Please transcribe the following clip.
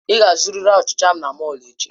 Ị ga-azụrịrị achicha ahụ na mọll echi!